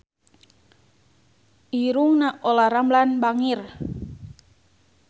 Irungna Olla Ramlan bangir